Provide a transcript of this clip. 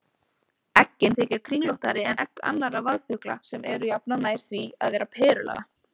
Eggin þykja kringlóttari en egg annarra vaðfugla sem eru jafnan nær því að vera perulaga.